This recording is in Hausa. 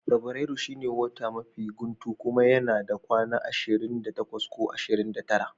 Fabrairu shine watan mafi guntu kuma yana da kwanaki ashirin da takwas ko ashirin da tara.